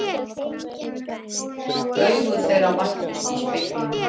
Augu þeirra mættust í speglinum.